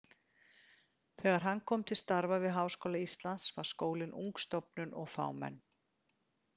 Þegar hann kom til starfa við Háskóla Íslands var skólinn ung stofnun og fámenn.